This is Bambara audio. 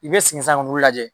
I bɛ sigin sisan k'olu lajɛ